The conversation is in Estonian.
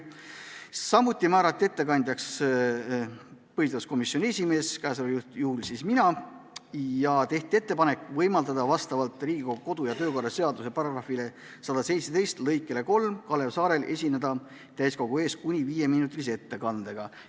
Samuti määrati ettekandjaks põhiseaduskomisjoni esimees – mina – ja tehti ettepanek võimaldada Kalev Saarel vastavalt Riigikogu kodu- ja töökorra seaduse § 117 lõikele 3 esineda täiskogu ees kuni viieminutilise ettekandega.